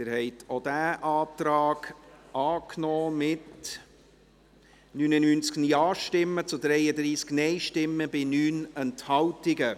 Sie haben auch diesen Antrag angenommen, mit 99 Ja- zu 33 Nein-Stimmen bei 9 Enthaltungen.